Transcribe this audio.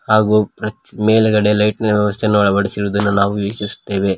ಹಾಗೂ ಪ್ರ ಮೇಲ್ಗಡೆ ಲೈಟಿ ನ ವ್ಯವಸ್ಥೆಯನ್ನು ಅಳವಡಿಸಿರುವುದನ್ನು ನಾವು ವೀಕ್ಷಿಸುತ್ತೇವೆ.